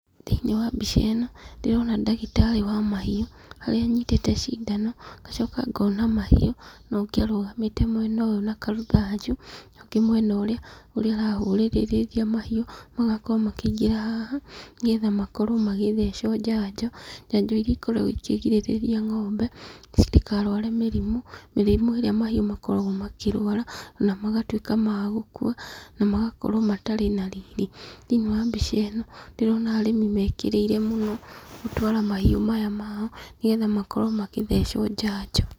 Thĩiniĩ wa mbica ĩno, ndĩrona ndagĩtarĩ wa mahiũ, haria anyitĩte cindano, ngacoka ngona mahiũ, na ũngĩ arũgamĩte mwena ũyũ na karũthanju, na ũngĩ mwena ũrĩ, ũrĩa arahũrĩrĩrĩa mahiũ, magakorwo makĩingĩra haha, nĩgetha makorwo magĩthecwo njanjo, njanjo iria ikoragwo ikĩgirĩrĩria ng'ombe citikarware mĩrimũ, mĩrimũ ĩrĩa mahiũ makoragwo makĩrwara, na magatuĩka ma gũkua, na magakorwo matari na riri. Thĩiniĩ wa mbica ĩno, ndĩrona arĩmi mekĩrĩire mũno gũtwara mahiũ maya mao nĩgetha makorwo magĩthecwo njanjo.